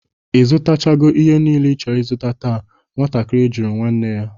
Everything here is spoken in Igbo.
Ị zụtachago ihe nile ị chọrọ ịzụta taa? nwatakiri juru nwanne ya?